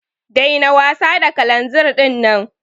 Daina wasa da kalanzir dinnan.